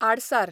आडसार